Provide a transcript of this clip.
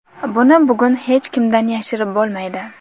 Buni bugun hech kimdan yashirib bo‘lmaydi.